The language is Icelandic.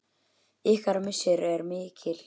Ykkar missir er mikill.